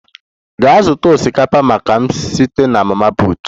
Gaa zụta osikapa maka m site na mama put!